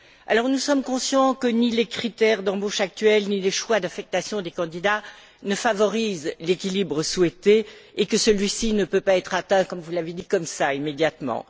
Alors, nous sommes conscients que ni les critères d'embauche actuels ni les choix d'affectation des candidats ne favorisent l'équilibre souhaité, et que celui ci ne peut pas être atteint, comme vous l'avez dit, comme cela, immédiatement.